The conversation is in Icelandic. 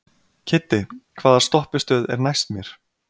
Kiddi, hvaða stoppistöð er næst mér?